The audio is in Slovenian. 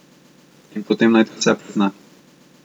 In potem naj ti vse prizna.